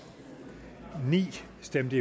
stemte